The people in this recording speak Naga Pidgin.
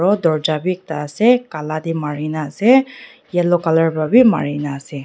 aro dorja bhi ekta ase kala tey marina ase yellow colour para bhi marina ase.